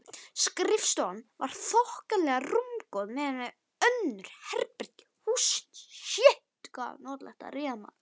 Skrifstofan var þokkalega rúmgóð miðað við önnur herbergi hússins.